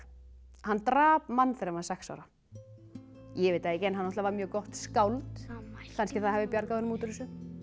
hann drap mann þegar hann var sex ára ég veit það ekki hann var mjög gott skáld kannski það hafi bjargað honum út úr þessu